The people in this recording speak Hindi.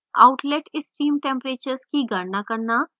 outlet stream temperatures की गणना करना